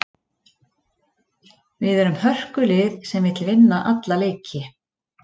Við erum með hörkulið sem vill vinna alla leiki.